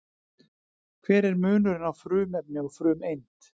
Hver er munurinn á frumefni og frumeind?